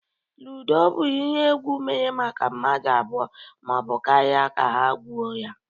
ludo bu ihe egwụ emere maka mmadu abụọ ma ọ bụ karịa ka ha gwuo ya.